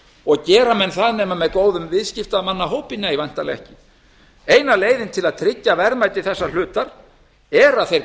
og gera menn það nema með góðum viðskiptamannahópi nei væntanlega ekki eina leiðin til að tryggja verðmæti þeirra hluta er að þeir